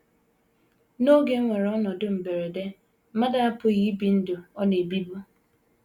N’oge e nwere ọnọdụ mberede, mmadụ apụghị ibi ndụ ọ “ na - ebibu.